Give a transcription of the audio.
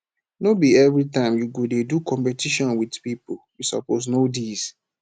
no be everytime you go dey do competition wit pipo you suppose know dis